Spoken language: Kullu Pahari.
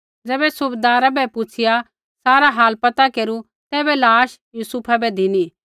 ज़ैबै सूबैदारै बै पुछ़िया सारा हाल पता केरू तैबै लाश यूसुफा बै धिनी